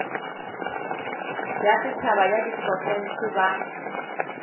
ya setšhaba ya diprofense ba